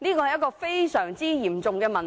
一個非常嚴重的問題。